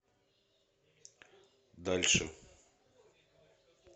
дальше